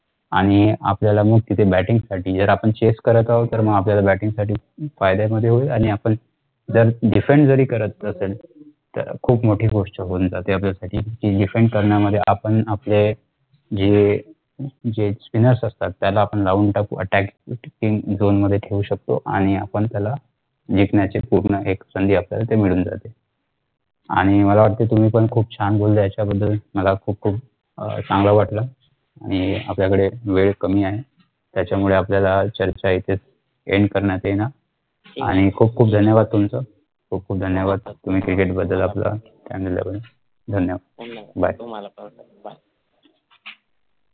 आणि आपल्याला मह तिथे batting साठी जर आपण chess करत आहोत मह आपल्याला batting साठी फायदा सुद्धा होईल